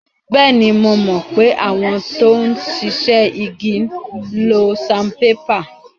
Bẹ́ẹ̀ni, mo mọ̀ pé àwọn tó ń ṣiṣẹ́ igi ń lo saanpépà.